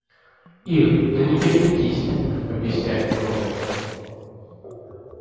ир да не кипятись ты объясняет мне он